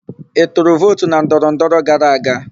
Ị tụrụ vootu na ndọrọndọrọ gara aga?